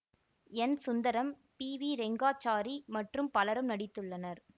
என் Sundaram P V Rangachari மற்றும் பலரும் நடித்துள்ளனர்